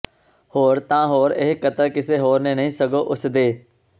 ਹੋਰ ਤਾਂ ਹੋਰ ਇਹ ਕਤਲ ਕਿਸੇ ਹੋਰ ਨੇ ਨਹੀਂ ਸਗੋਂ ਉਸਦੇ